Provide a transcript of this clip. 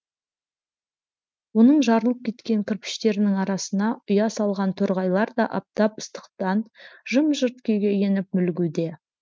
оның жарылып кеткен кірпіштерінің арасына ұя салған торғайлар да аптап ыстықтан жым жырт күйге еніп мүлгуде